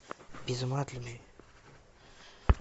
без ума от любви